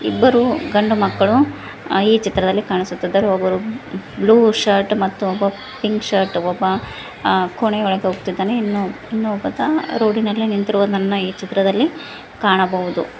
ಇಬ್ಬರು ಗಂಡ ಮಕ್ಕಳು ಈ ಚಿತ್ರದಲ್ಲಿ ಕಾಣಿಸುತ್ತಿದ್ದಾರೆ ಒಬ್ಬರು ಬ್ಲೂ ಶರ್ಟ್ ಮತ್ತು ಇನ್ನೊಬ್ಬ ಪಿಂಕ್ ಶರ್ಟ್ ಒಬ್ಬ ಕೊನೆ ಒಳಗೆ ಹೋಗುತ್ತಿದ್ದಾನೆ ಇನ್ನ ಒಬ್ಬ ರೋಡಿನಲ್ಲಿ ನಿಂತಿರೋದನ್ನ ಈ ಚಿತ್ರದಲ್ಲಿ ಕಾಣಬಹುದು.